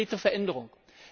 Konkrete Veränderungen.